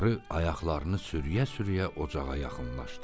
Qarı ayaqlarını sürüyə-sürüyə ocağa yaxınlaşdı.